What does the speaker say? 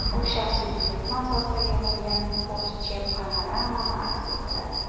U shaxsiy buyurtma asosida yig‘ilgan Porsche Panamera’ni aks ettiradi.